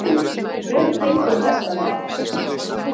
Ingdís, hver syngur þetta lag?